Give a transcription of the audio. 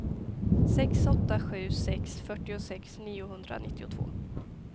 sex åtta sju sex fyrtiosex niohundranittiotvå